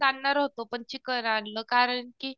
आणणार होतो पण चिकन आणलं कारण की